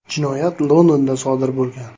Jinoyat Londonda sodir bo‘lgan.